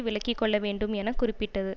விளங்கிக்கொள்ளவேண்டும் என குறிப்பிட்டது